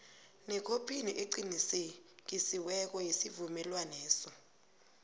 nekhophi eqinisekisiweko yesivumelwaneso